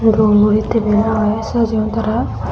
roommo he table aage sajiyon tara.